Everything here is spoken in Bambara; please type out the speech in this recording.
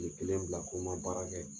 Tile kelen bila ko n ma baara kɛ